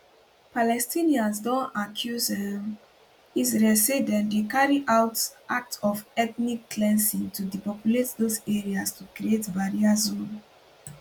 palestinians don accuse um israel say dem dey carry out acts of ethnic cleansing to depopulate dose areas to create barrier zone